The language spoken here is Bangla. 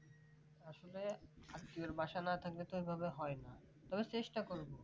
আসলে আত্মীয়ের বাসা না থাকলে তো এভাবে হয় না তবে চেষ্টা করব